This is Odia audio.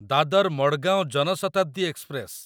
ଦାଦର ମଡଗାଓଁ ଜନ ଶତାବ୍ଦୀ ଏକ୍ସପ୍ରେସ